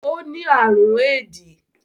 O ni àrùn éédì